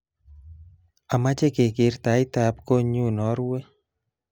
Amache keker taitab kotnyu naruwe